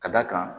Ka d'a kan